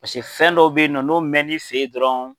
Paseke fɛn dɔw bɛ ye nɔ n'o mɛnn'i fɛ ye dɔrɔn